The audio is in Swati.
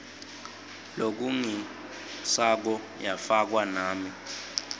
lofungisako yafakwa nami